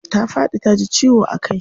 Ta faɗi taji ciwo a kai.